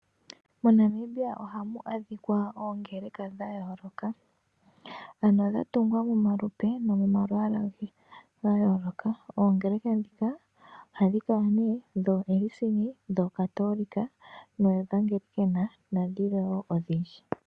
MoNamibia ohamu adhika oongeleka dhatungwa momalupe nomomalwaala ga yooloka. Oongeleka ndhika kala ne dho ELCIN, KATHOLIC, EGLIKAN nadhimwe odhindji.